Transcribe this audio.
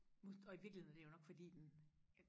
og i virkeligheden er det jo nok fordi den